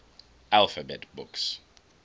alphabet books